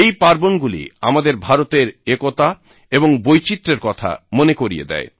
এই পার্বণগুলি আমাদের ভারতের একতা এবং বৈচিত্রের কথা মনে করিয়ে দেয়